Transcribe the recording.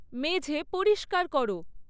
মেঝে পরিস্কার করো